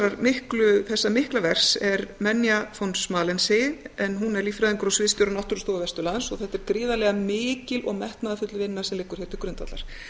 þessa mikla verks er menja von schmalensee en hún er líffræðingur og sviðsstjóri náttúrustofu vesturlands og þetta er gríðarlega mikil og metnaðarfull vinna sem liggur hér til grundvallar